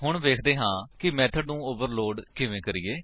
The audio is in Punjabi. ਹੁਣ ਵੇਖਦੇ ਹਾਂ ਕਿ ਮੇਥਡ ਨੂੰ ਓਵਰਲੋਡ ਕਿਵੇਂ ਕਰੀਏ